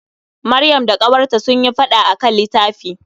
Maryam da ƙawarta sunyi fada akan litafi.